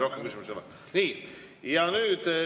Rohkem küsimusi ei ole.